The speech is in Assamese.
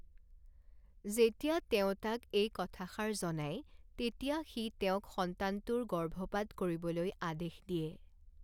যেতিয়া তেওঁ তাক এই কথাষাৰ জনায়, তেতিয়া সি তেওঁক সন্তানটোৰ গৰ্ভপাত কৰিবলৈ আদেশ দিয়ে।